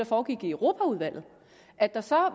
foregik i europaudvalget at der så var